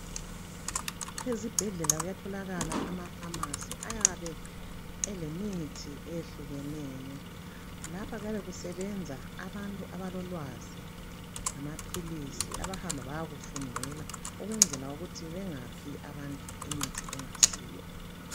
Ezibhedlela kuyatholakala ama Pharmacy ayabe elemithi eyehlukeneyo lapha kyabe kusebenza abantu abalolwazi ngamaphilisi abahamba bayakufundela ukwenzela ukuthi bengaphi abantu imithi engasiyo.